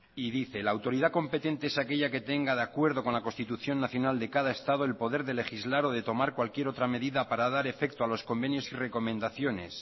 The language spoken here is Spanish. y dice la autoridad competente es aquella que tenga de acuerdo con la constitución nacional de cada estado el poder de legislar o de tomar cualquier otra medida para dar efecto a los convenios y recomendaciones